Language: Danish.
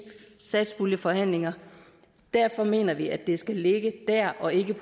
satspuljeforhandlinger derfor mener vi at det skal ligge der og ikke